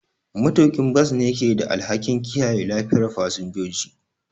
Matuƙin bas ne ke da alhakin kiyaye lafiyar fasinjoji.